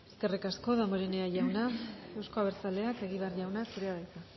eskerrik asko damborenea jauna euzko abertzaleak egibar jauna zurea da hitza